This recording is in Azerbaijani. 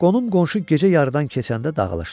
Qonum-qonşu gecə yarıdan keçəndə dağılışdı.